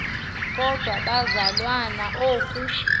kodwa bazalwana oku